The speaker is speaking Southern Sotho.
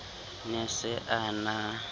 ne a se a na